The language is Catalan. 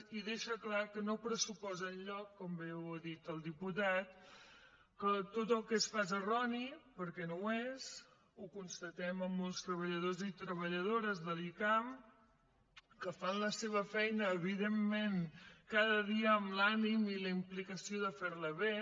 i deixa clar que no pressuposa enlloc com bé ho ha dit el diputat que tot el que es fa sigui erroni perquè no ho és ho constatem amb molts treballadors i treballadores de l’icam que fan la seva feina evidentment cada dia amb l’ànim i la implicació de fer la bé